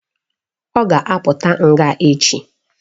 Ọ ga-apụta nga echi